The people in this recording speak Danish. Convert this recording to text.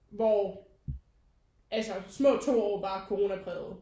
Hvor altså små to år var corona præget